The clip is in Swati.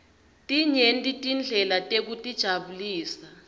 tinyenti tindlela tekutijabulisa